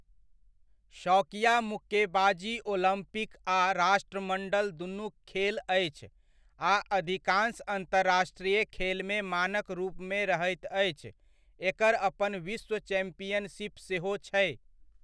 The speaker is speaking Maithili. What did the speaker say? शौकिया मुक्केबाजी ओलम्पिक आ राष्ट्रमंडल दुनुक खेल अछि आ अधिकान्श अन्तरराष्ट्रीय खेलमे मानक रूपमे रहैत अछि। एकर अपन विश्व चैम्पियनशिप सेहो छै।